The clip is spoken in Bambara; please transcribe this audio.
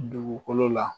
Dugukolo la